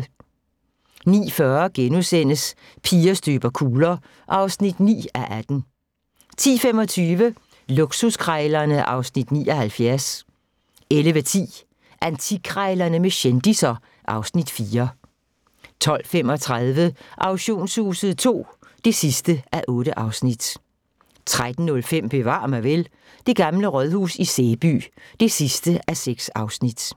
(13:237) 09:40: Piger støber kugler (9:18)* 10:25: Luksuskrejlerne (Afs. 79) 11:10: Antikkrejlerne med kendisser (Afs. 4) 12:35: Auktionshuset II (8:8) 13:05: Bevar mig vel: Det gamle rådhus i Sæby (6:6)